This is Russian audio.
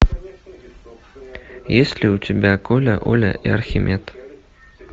есть ли у тебя коля оля и архимед